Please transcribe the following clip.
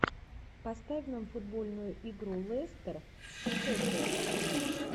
поставь нам футбольную игру лестер с шеффилдом